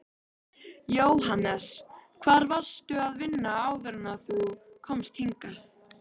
Jóhannes: Hvar varstu að vinna áður en þú komst hingað?